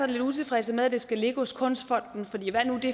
lidt utilfredse med at det skal ligge hos kunstfonden